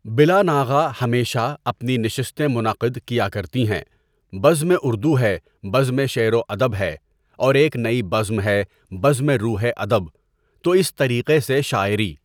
بلا ناغہ ہمیشہ اپنی نشستیں منعقد کیا کرتی ہیں بزمِ اُردو ہے بزمِ شعر و ادب ہے اور ایک نئی بزم ہے بزمِ روحے ادب تو اِس طریقے سے شاعری.